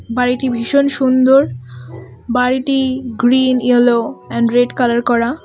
বাড়িটি ভীষণ সুন্দর বাড়িটি green yellow and red colour করা।